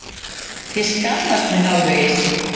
Ég skammast mín hálfvegis.